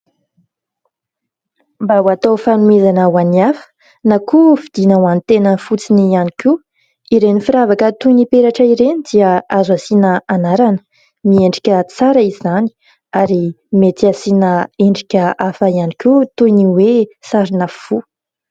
Mba ho atao fanomezana ho any hafa na koa vidiana ho any tena fotsiny ihany koa, iren'ny firavaka toy ny peratra ireny dia azo asiana anarana ; miendrika tsara izany ary mety asiana endrika hafa ihany koa toy ny hoe sarina fo.